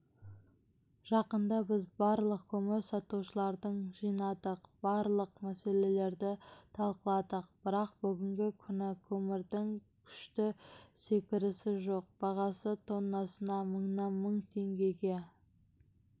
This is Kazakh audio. жақында біз барлық көмір сатушыларды жинадық барлық мәселелерді талқыладық бірақ бүгінгі күні көмірдің күшті секірісі жоқ бағасы тоннасына мыңнан мың теңгеге